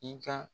I ka